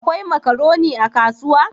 Akwai makaroni a kasuwa?